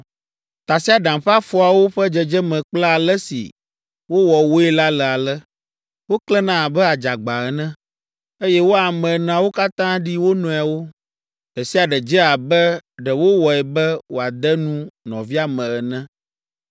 Tasiaɖam ƒe afɔawo ƒe dzedzeme kple ale si wowɔ woe la le ale: woklẽna abe adzagba ene, eye wo ame eneawo katã ɖi wo nɔewo. Ɖe sia ɖe dze abe ɖe wowɔe be wòade nu nɔvia me ene.